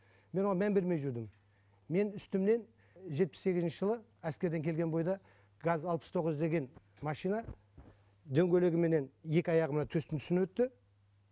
мен оған мән бермей жүрдім менің үстімнен жетпіс сегізінші жылы әскерден келген бойда газ алпыс тоғыз деген машина дөңгелегіменен екі аяғыма төстің үстінен түсті